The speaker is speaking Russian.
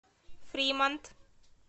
фримонт